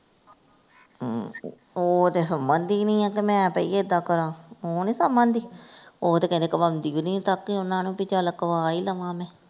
ਹਮ ਉਹ ਤੇ ਸਮਝਦੀ ਨਹੀਂ ਏ ਕਿ ਮੈਂ ਭਈ ਇੱਦਾਂ ਕਰਾਂ ਉਹ ਨੀ ਸਮਝਦੀ ਉਹ ਤੇ ਕਹਿੰਦੇ ਕਵਾਉਂਦੀ ਵੀ ਨੀ ਚੱਕ ਕੇ ਉਹਨਾਂ ਨੂੰ ਭੀ ਚੱਲ ਕਵਾ ਈ ਲਵਾਂ ਮੈਂ।